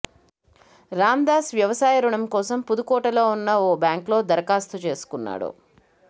రామదాస్ వ్యవసాయ రుణం కోసం పుదుకోటలో ఉన్న ఓ బ్యాంక్లో దరఖాస్తు చేసుకున్నాడు